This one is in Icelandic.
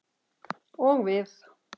Og við.